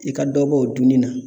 I ka dɔ bɔ o dunni na.